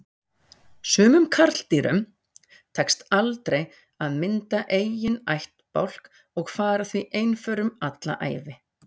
Sumum karldýrum tekst aldrei að mynda eiginn ættbálk og fara því einförum alla ævi.